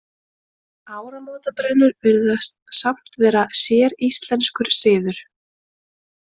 Áramótabrennur virðast samt vera séríslenskur siður.